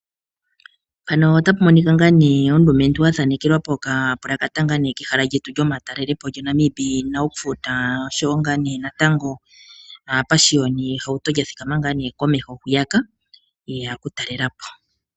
Mpano otapu monika ngaa nee omulumentu athikama ngaa nee athaanekelwa poka pulakata kehala lyetu lyomatalelepo lyo Namib Naukluft park . Osho woo ngaa nee natango aapashiyoni ye hauto lya thikama ngaa nee hwiyaka yeya oku talelapo.